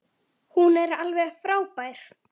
Hún er alveg frábær.